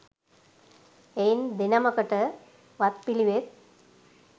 එයින් දෙනමකට වත් පිළිවෙත්